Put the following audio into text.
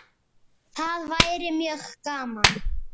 Það væri mjög gaman.